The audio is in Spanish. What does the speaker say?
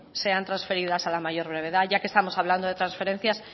sean transferidas a la mayor brevedad ya que estamos hablando de transferencias